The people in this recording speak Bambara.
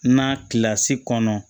Na kilasi kɔnɔ